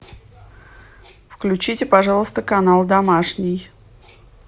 включите пожалуйста канал домашний